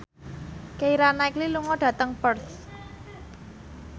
Keira Knightley lunga dhateng Perth